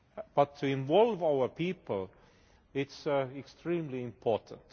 But to involve our people it is extremely important.